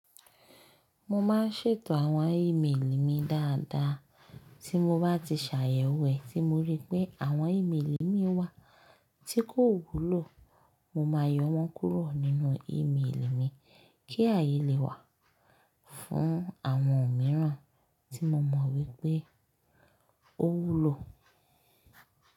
Mo máa ń ṣètò àwọn ìmélì mi dáadáa, tí mo bá ti ṣàyẹ̀wò ẹ̀, tí mo rí pé àwọn ìmélì mi wà tí kò wúlò, mo máa yọ wọ́n kúrò nínú ìmélì mi, kí ààyè lè wà fún àwọn mìíràn tí mo mọ̀ wípé ó wúlò.